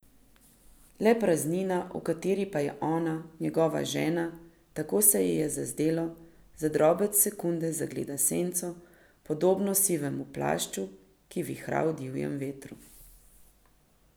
Le praznina, v kateri pa je ona, njegova žena, tako se ji je zazdelo, za drobec sekunde zagledala senco, podobno sivemu plašču, ki vihra v divjem vetru.